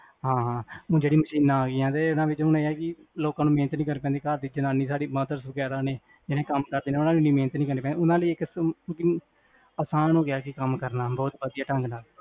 ਹਾਂ ਹਾਂ, ਓਹ ਜੇਹੜੀ machines ਆਗਿਆਂ ਨੇ, ਇੰਨਾ ਵਿੱਚ ਮੈਨੂ ਇਹ ਆ ਕੀ, ਲੋਕਾਂ ਨੂੰ ਮੇਹਨਤ ਨੀ ਕਰਨੀ ਪੈਂਦੀ, ਘਰਦੀ ਜਨਾਨੀ ਸਾਰੀ mothers ਵਗੇਰਾ ਨੇ, ਇੰਨਾ ਨੂੰ ਵੀ ਇੰਨੀ ਮੇਹਨਤ ਨੀ ਕਰਨੀ ਪੈਂਦੀ ਓਨਾ ਲਈ ਇਕ ਆਸਾਨ ਹੋਗਿਆ ਕਾਮ ਕਰਨਾ, ਬੋਹਤ ਵਡਿਆ ਢੰਗ ਨਾਲ